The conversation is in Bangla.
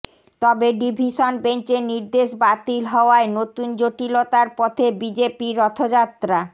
তবে ডিভিশন বেঞ্চে নির্দেশ বাতিল হওয়ায় নতুন জটিলতার পথে বিজেপির রথযাত্রা